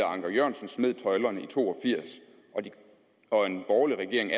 anker jørgensen smed tøjlerne i nitten to og firs og en borgerlig regering